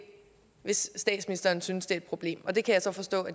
hvis statsministeren synes det er et problem og det kan jeg så forstå